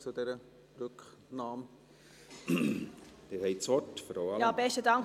– Sie haben das Wort, Frau Allemann.